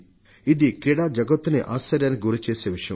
ఇది క్రీడా జగత్తునే అచ్చెరువుకు గురిచేసే విషయం